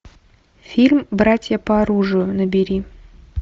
фильм братья по оружию набери